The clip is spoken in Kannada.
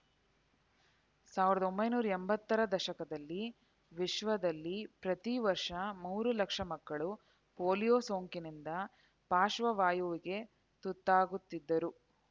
ಸಾವಿರದ ಒಂಬೈನೂರ ಎಂಬತ್ತರ ದಶಕದಲ್ಲಿ ವಿಶ್ವದಲ್ಲಿ ಪ್ರತಿ ವರ್ಷ ಮೂರು ಲಕ್ಷ ಮಕ್ಕಳು ಪೋಲಿಯೋ ಸೋಂಕಿನಿಂದ ಪಾಶ್ರ್ವವಾಯುವಿಗೆ ತುತ್ತಾಗುತ್ತಿದ್ದರು